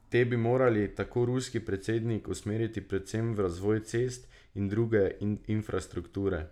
Te bi morali, tako ruski predsednik, usmeriti predvsem v razvoj cest in druge infrastrukture.